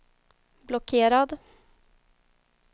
blockerad